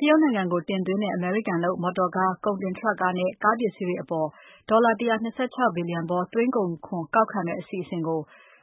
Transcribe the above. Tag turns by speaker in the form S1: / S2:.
S1: တရုတ်နိုင်ငံကို တင်သွင်းတဲ့ အမေရိကန်လုပ် မော်တော်ကား၊ ကုန်တင် Truck ကားနဲ့ ကားပစ္စည်းတွေအပေါ် ဒေါ်လာ ၁၂၆ ဘီလျံဖိုး သွင်းကုန်ခွန်ကောက်မယ့်အစီအစဉ်ကို